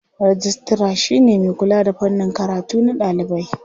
Rijistira shi ne mai kula da fannin karatu na ɗalibai.